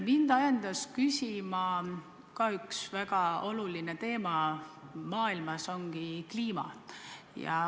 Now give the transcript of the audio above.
Mind ajendas küsima üks väga oluline teema maailmas ja see on kliima.